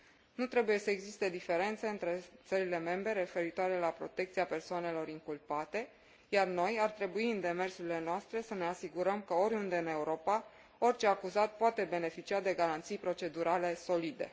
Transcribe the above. Nu trebuie să existe diferențe între țările membre, referitoare la protecția persoanelor inculpate, iar noi ar trebui, în demersurile noastre, să ne asigurăm că oriunde în Europa, orice acuzat poate beneficia de garanții procedurale solide.